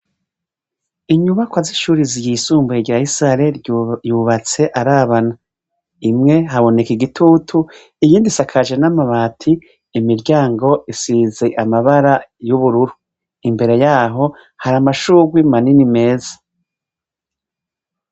Inyubakwa y'ishure ry'isumbuye rya Isare, yubats' arabana. Imwe haboneka igitutu iyindi isakajie n'amabati, imiryango isize amabara y'ubururu. Imbere yaho har'amashurwe manini meza.